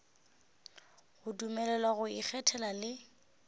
go dumelelwa go ikgethela le